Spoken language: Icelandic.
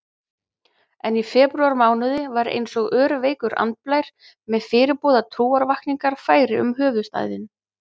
En í febrúarmánuði var einsog örveikur andblær með fyrirboða trúarvakningar færi um höfuðstaðinn.